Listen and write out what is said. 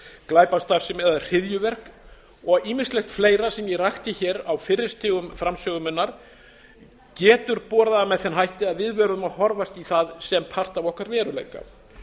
glæpastarfsemi eða hryðjuverk og ýmislegt fleira sem ég rakti hér á fyrri stigum framsögu minnar getur borið að með þeim hætti að við verðum að horfast í það sem part af okkar veruleika